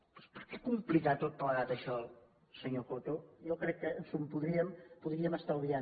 doncs per què complicar tot plegat això senyor coto jo crec que ens ho podríem estalviar